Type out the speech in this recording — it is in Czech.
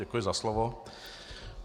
Děkuji za slovo.